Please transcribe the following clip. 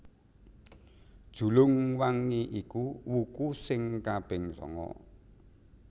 Julung wangi iku wuku sing kaping sanga